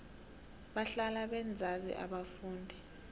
bahlala benzani abafundi